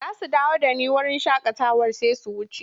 Za su dawo da ni wurin shakatawar sai su wuce.